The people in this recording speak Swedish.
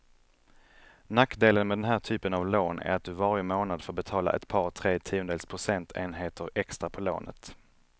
Nackdelen med den här typen av lån är att du varje månad får betala ett par, tre tiondels procentenheter extra på lånet.